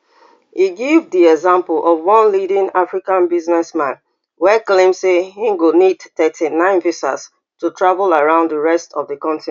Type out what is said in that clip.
e give di example of one leading african businessman wey claim say im go need thirty-nine visas to travel round di rest of di continent